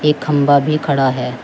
एक खंबा भी खड़ा है।